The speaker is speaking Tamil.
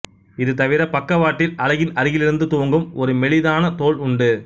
இது தவிர பக்கவாட்டில் அலகின் அருகிலிருந்து துவங்கும் ஒரு மெலிதான தோல் உண்டு